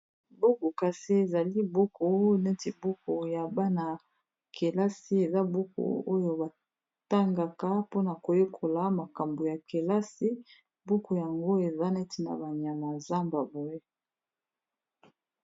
buku kasi ezali buku neti buku ya bana ya kelasi eza buku oyo batangaka mpona koyekola makambo ya kelasi buku yango eza neti na banyama zambabwe